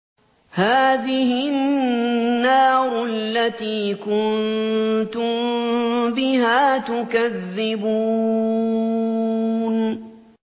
هَٰذِهِ النَّارُ الَّتِي كُنتُم بِهَا تُكَذِّبُونَ